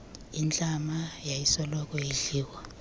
intlama yayisoloko idliwa